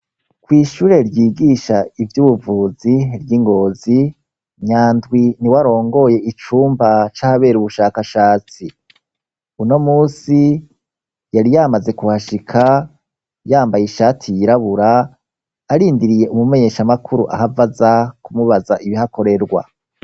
Kw' ishure ryigisha ivyubuvuzi ry'i Ngozi Nyandwi niwe arongoye icumba c'ahabera ubushakashatsi. Uno munsi yari yamaze kuhashika, yambaye ishati yirabura arindiriye umumenyeshamakuru ahava aza kumubaza ibihakorerwa.